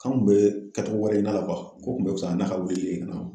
K'an kun bɛ kɛcogo wɛrɛ la ko kun bɛ fisaya n'a ka wulili ye ka na